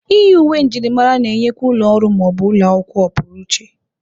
Iyi uwe njirimara na-enyekwa ụlọ ọrụ ma ọ bụ ụlọ akwụkwọ ọpụrụ iche.